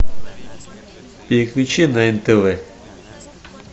переключи на нтв